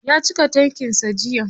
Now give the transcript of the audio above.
Ya cika tankin sa jiya.